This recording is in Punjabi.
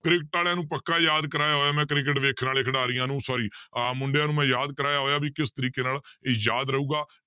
ਕ੍ਰਿਕਟ ਵਾਲਿਆਂ ਨੂੰ ਪੱਕਾ ਯਾਦ ਕਰਵਾਇਆ ਹੋਇਆ ਮੈਂ ਕ੍ਰਿਕਟ ਵੇਖਣ ਵਾਲੇ ਖਿਡਾਰੀਆਂ ਨੂੰ sorry ਆਹ ਮੁੰਡਿਆਂ ਨੂੰ ਮੈਂ ਯਾਦ ਕਰਵਾਇਆ ਹੋਇਆ ਵੀ ਕਿਸ ਤਰੀਕੇ ਨਾਲ ਇਹ ਯਾਦ ਰਹੇਗਾ,